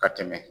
Ka tɛmɛ